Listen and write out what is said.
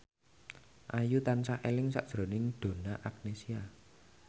Ayu tansah eling sakjroning Donna Agnesia